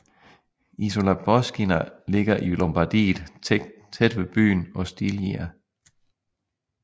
Isola Boschina ligger i Lombardiet tæt ved byen Ostiglia